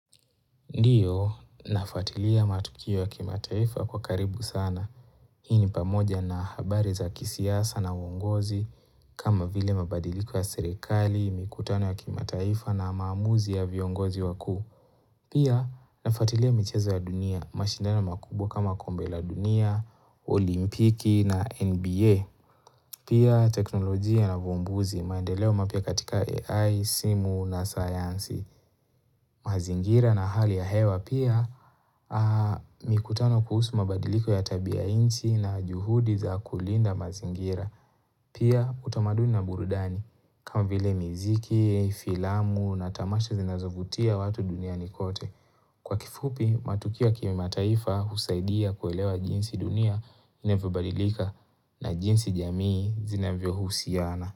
Ndiyo, nafuatilia matukio ya kimataifa kwa karibu sana. Hii ni pamoja na habari za kisiasa na uongozi kama vile mabadiliko ya serikali, mikutano ya kimataifa na maamuzi ya viongozi wakuu. Pia, nafuatilia michezo ya dunia, mashindano makubwa kama kombe la dunia, olimpiki na NBA. Pia, teknolojia na uvumbuzi, maendeleo mapya katika AI, simu na saysnsi. Mazingira na hali ya hewa pia mikutano kuhusu mabadiliko ya tabiainchi na juhudi za kulinda mazingira. Pia utamaduni na burudani kama vile miziki, filamu na tamasha zinazovutia watu duniani kote. Kwa kifupi matukio ya kimataifa husaidia kuelewa jinsi dunia inevyobadilika na jinsi jamii zinavyohusiana.